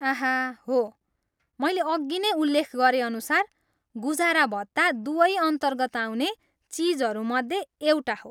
आह हो, मैले अघि नै उल्लेख गरेअनुसार, गुजारा भत्ता दुवै अन्तर्गत आउने चिजहरूमध्ये एउटा हो।